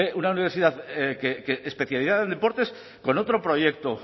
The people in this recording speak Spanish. una universidad especializada en deportes con otro proyecto